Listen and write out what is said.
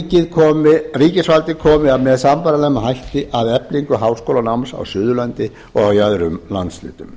að ríkisvaldið komi með sambærilegum hætti að eflingu háskólanáms á suðurlandi og í öðrum landshlutum